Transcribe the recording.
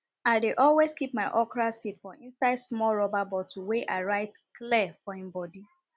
i dey always keep my okra seed for inside small rubber bottle wey i write clear for im bodi